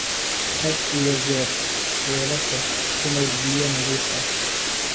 Had iyo jeer weelasha ku maydh biyo nadiif ah.